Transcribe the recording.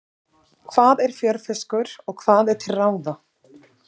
Hvað er fjörfiskur og hvað er til ráða?